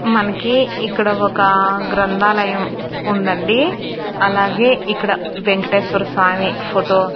మనకి ఇక్కడ ఒక గ్రంథాలయం ఉందండి అలాగే ఇక్కడ వెంకటేశ్వర స్వామి ఫోటో --